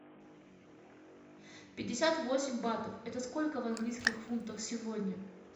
пятьдесят восемь батов это сколько в английских фунтах сегодня